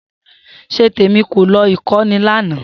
Setemi ko lọ ìkọ́ni lana.